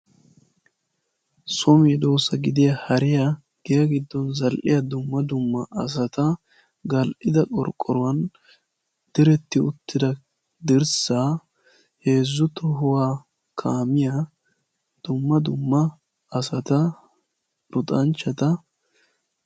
soho medoosatuppe issuwa gidiya hariya giya gidon zal'iya dumma dumma asata heezu tohuwan zal'iya gaareta duma dumma asata.